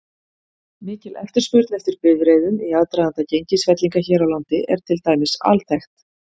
Mikil eftirspurn eftir bifreiðum í aðdraganda gengisfellinga hér á landi er til dæmis alþekkt.